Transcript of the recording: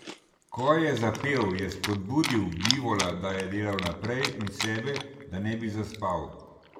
Ko je zapel, je spodbudil bivola, da je delal naprej, in sebe, da ne bi zaspal.